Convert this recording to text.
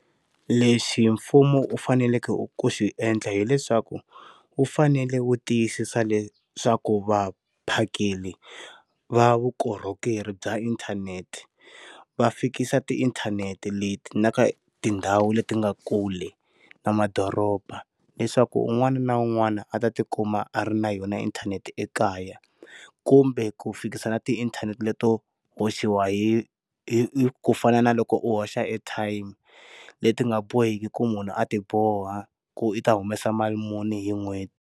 Lexi hi mfumo u faneleke u ku xi endla hileswaku wu fanele wu tiyisisa leswaku vaphakeri va vukorhokeri bya inthanete va fikisa ti inthanete leti na ka tindhawu leti nga kule na madoroba leswaku un'wana na un'wana a tikuma a ri na yona inthanete ekaya kumbe ku fikisa na ti inthanete leto hoxiwa hi hi ku fana na loko u hoxa airtime leti nga boheki ku munhu a ti boha ku u ta humesa mali muni hi n'hweti.